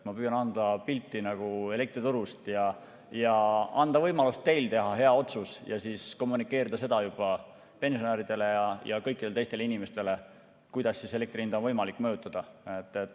Ma püüan anda pilti elektriturust, anda teile võimalust teha hea otsus ja siis kommunikeerida seda juba pensionäridele ja kõikidele teistele inimestele, kuidas elektri hinda on võimalik mõjutada.